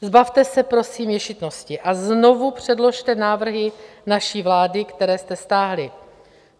Zbavte se prosím ješitnosti a znovu předložte návrhy naší vlády, které jste stáhli.